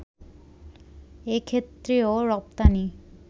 এক্ষেত্রেও রপ্তানি